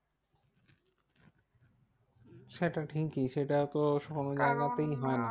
সেটা ঠিকই সেটা তো সব জায়গাতেই হয় না।